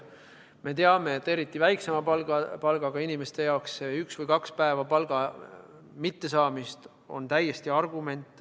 Me teame, et eriti väiksema palgaga inimeste jaoks üks või kaks päeva palga mittesaamist on täiesti argument.